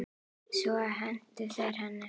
Svo hentu þeir henni.